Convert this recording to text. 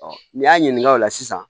n'i y'a ɲininka o la sisan